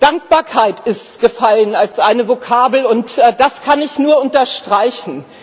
Dankbarkeit ist gefallen als eine Vokabel, und das kann ich nur unterstreichen.